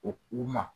O u ma